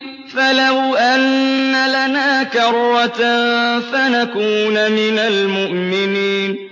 فَلَوْ أَنَّ لَنَا كَرَّةً فَنَكُونَ مِنَ الْمُؤْمِنِينَ